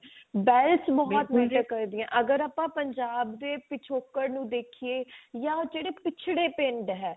wealth ਬਹੁਤ matter ਕਰਦੀਏ ਅਗਰ ਆਪਾਂ ਪੰਜਾਬ ਦੇ ਪਿਛੋਕੜ ਨੂੰ ਦੇਖੀਏ ਜਾਂ ਜਿਹੜੇ ਪਿਛੜੇ ਪਿੰਡ ਹੈ ਉਹ